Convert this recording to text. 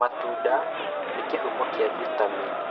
Matunda nĩ kĩhumo kĩa vitamini.